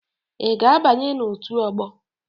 Ị ga-abanye na otu ọgbọ?